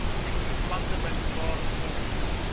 plante bymekaar volgens